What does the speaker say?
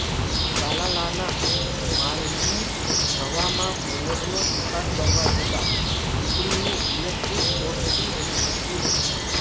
તાલાલાના માલજીંજવામાં મોરનો શિકાર કરવા જતાં દિપડીનું ઈલેકટ્રીક શોર્ટથી મૃત્યુુ